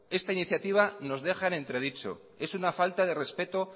esta iniciativa nos deja en entredicho es una falta de respeto